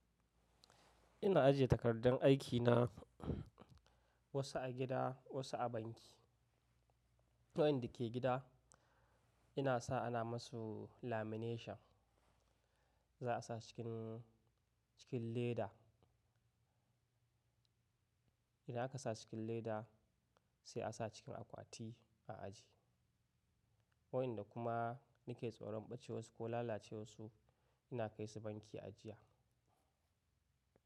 Ina ajiye takardun aikina wasu a gida wasu a banki. Wayanda ke gida ina sa ana masu lamination za a sa cikin, cikin leda. Ina aka sa cikin leda sai a sa cikin akwati a ajiye. Wayanda kuma nake tsoron bace warsu ko lalacewar su ina kai su banki ajiya.